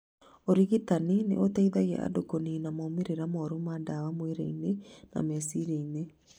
Ũrigitani nĩ ũteithagia andũ kũnina moimĩrĩra moru ma ndawa mwĩrĩ-inĩ na meciria-inĩ.